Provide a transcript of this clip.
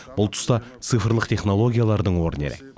бұл тұста цифрлық технологиялардың орны ерек